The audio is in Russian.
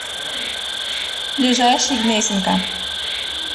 ближайший гнесинка